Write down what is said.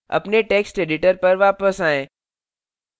अपने text editor पर वापस आएँ